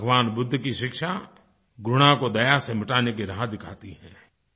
भगवान बुद्ध की शिक्षा घृणा को दया से मिटाने की राह दिखाती है